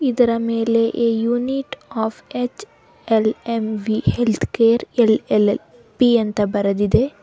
ಇದರ ಮೇಲೆ a unit of HLMV health care LLP ಅಂತ ಬರೆದಿದೆ.